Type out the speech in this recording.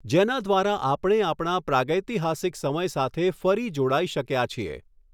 જેના દ્વારા આપણે આપણા પ્રાગેતિહાસીક સમય સાથે ફરી જોડાઈ શકયા છીએ.